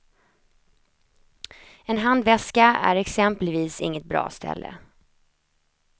En handväska är exempelvis inget bra ställe.